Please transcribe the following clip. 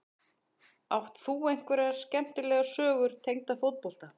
Átt þú einhverja skemmtilega sögur tengda fótbolta?